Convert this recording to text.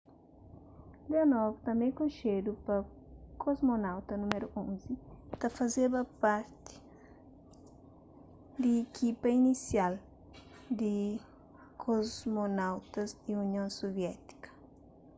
leonov tanbê konxedu pa kosmonauta nº 11” ta fazeba parti di ikipa inisial di kosmonautas di union suviétika